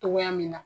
Togoya min na